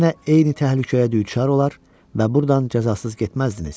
Yenə eyni təhlükəyə düçar olar və burdan cəzasız getməzdiniz.